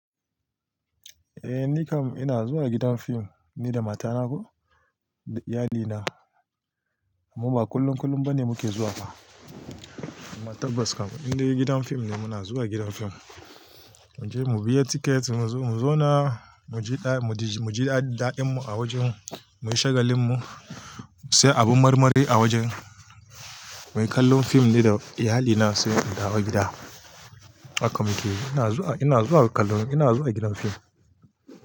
Eh nikam ina zuwa gidan fim ni da matana ko da iyalina. Mu ba kullun kullun ba ne muke zuwa ba amma tabbas kam in dai gidan fim ne muna zuwa gidan fim. Muje mu biya tiket muzo, mu zauna muji daɗi, muji daɗinmu a wajen mu, muyi shagalin mu, mu siya abun marmari a wajen. Muyi kallon fim ni da iyalina sai mu dawo gida. Haka muke, ina zuwa, ina zuwa kallon, ina zuwa gidan fim.